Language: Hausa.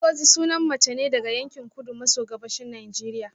Ngozi sunan mace ne daga yankin kudu maso gabashin Najeriya